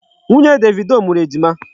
Nwunye Davido mụrụ Ejima.